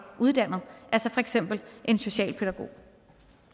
uddannet for eksempel en socialpædagogisk